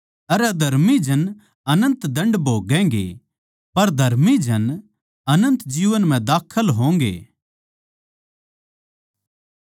अर अधर्मी जन अनन्त दण्ड भोगैगें पर धर्मी जन अनन्त जीवन म्ह दाखल होंगे